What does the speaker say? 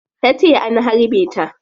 Tace an harbe ta